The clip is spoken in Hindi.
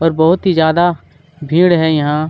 और बहुत ही ज्यादा भीड़ है यहाँ।